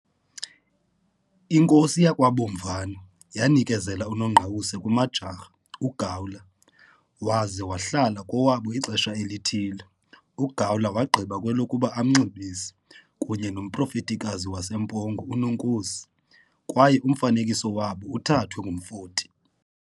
Inkosi yakwaBomvana yanikezela uNongqawuse kuMajjarha uGawler waza wahlala kowabo ixesha elithile. Gawler wagqiba kwelokuba amnxibise, kunye nomprofetikazi waseMpongo uNonkosi, kwaye umfanekiso wabo uthathwe ngumfoti.